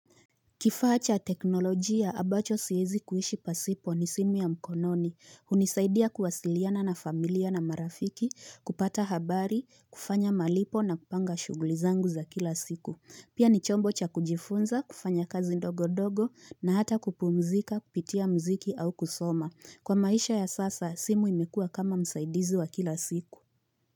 Kifaa cha teknolojia ambacho siwezi kuishi pasipo ni simu ya mkononi, hunisaidia kuwasiliana na familia na marafiki, kupata habari, kufanya malipo na kupanga shughuli zangu za kila siku. Pia ni chombo cha kujifunza, kufanya kazi ndogo ndogo na hata kupumzika, kupitia muziki au kusoma. Kwa maisha ya sasa, simu imekua kama msaidizi wa kila siku.